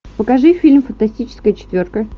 покажи фильм фантастическая четверка